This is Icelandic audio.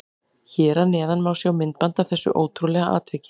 Hér að neðan má sjá myndband af þessu ótrúlega atviki.